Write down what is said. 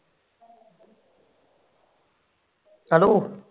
hello